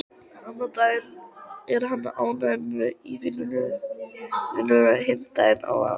Annan daginn er hann ánægður í vinnunni, hinn daginn óánægður.